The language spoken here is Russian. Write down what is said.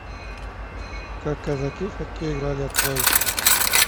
как казаки в хоккей играли открой